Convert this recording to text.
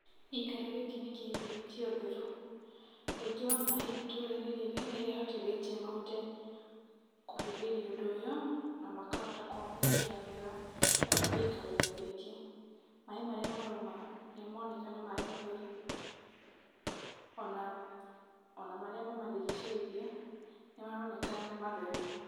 Gĩikaro gĩkĩ nĩ kĩhĩmbĩritie ũtheru. Wũingĩ wa maĩ itũũra-inĩ rĩrĩ nĩrĩhotithĩtiĩ mahote kũhĩmbĩria ũndũ ũyũ na makahota kwamũkĩra wega gĩikaro-inĩ gĩkĩ. Maĩ marĩa marauma nĩ maroneka nĩ maĩ matheru, ona, ona marĩa mamarigicĩirie nĩ maroneka nĩ matheru.